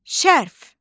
Şərf.